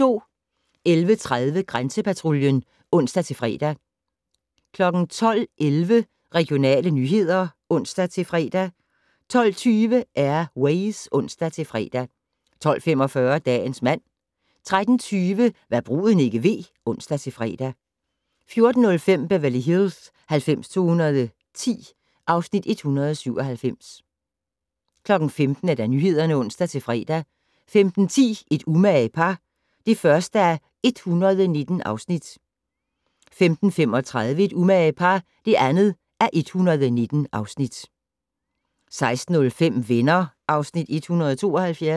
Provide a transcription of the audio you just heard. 11:30: Grænsepatruljen (ons-fre) 12:11: Regionale nyheder (ons-fre) 12:20: Air Ways (ons-fre) 12:45: Dagens mand 13:20: Hva' bruden ikke ved (ons-fre) 14:05: Beverly Hills 90210 (Afs. 197) 15:00: Nyhederne (ons-fre) 15:10: Et umage par (1:119) 15:35: Et umage par (2:119) 16:05: Venner (Afs. 172)